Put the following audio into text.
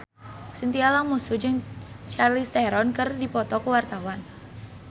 Chintya Lamusu jeung Charlize Theron keur dipoto ku wartawan